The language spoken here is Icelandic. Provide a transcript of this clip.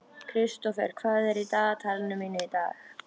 Kristófer, hvað er í dagatalinu mínu í dag?